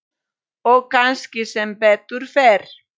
Og kannski sem betur fer.